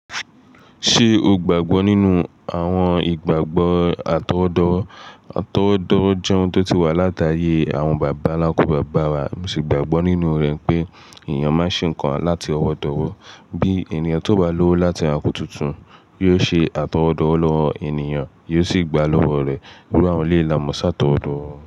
Ṣé o gbàgbọ́ nínú àwọn ìgbàgbọ́ àtọwọ́dọ́? Àtọwọ́dọ́ jẹ́ ohun tó ti wà láta yé àwọn bàbá alákòbẹ̀rẹ̀ wa, mo sì gbàgbọ́ nínú rẹ̀ pé èèyàn má ṣe nǹkan láti ọwọ́ tọwọ́. Bí èèyàn tó bá lówó láti ra ǹkan tuntun yóò ṣe àtọwọ́dọ́ lọ́wọ́ èèyàn, yóò sì gba lọ́wọ́ rẹ̀. Irú àwọn eléyìí la mo sí àtọwọ́dọ́.